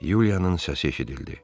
Yulianın səsi eşidildi.